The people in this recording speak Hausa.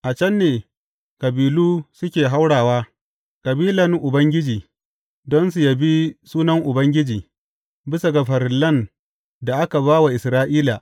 A can ne kabilu suke haurawa, kabilan Ubangiji, don su yabi sunan Ubangiji bisa ga farillan da aka ba wa Isra’ila.